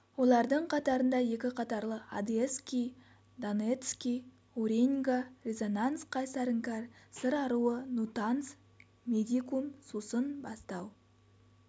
олардың қатарында екі қатарлы одесский донецкий уреньга резонанс қайсар іңкәр сыр аруы нутанс медикум сусын бастау